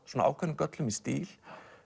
ákveðnum göllum í stíl